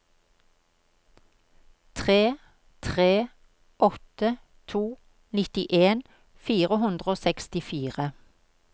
tre tre åtte to nittien fire hundre og sekstifire